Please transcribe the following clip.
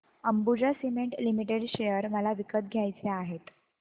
Ambuja cement limited share मला विकत घ्यायचे आहेत